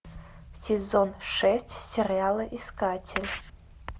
сезон шесть сериала искатель